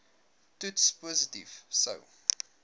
toets positief sou